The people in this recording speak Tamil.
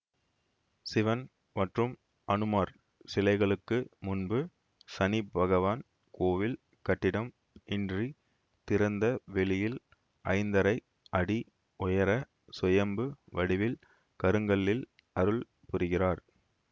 சிவன் மற்றும் அனுமார் சிலைகளுக்கு முன்பு சனி பகவான் கோயில் கட்டிடம் இன்றி திறந்த வெளியில் ஐந்தரை அடி உயர சுயம்பு வடிவில் கருங்கல்லில் அருள் புரிகிறார்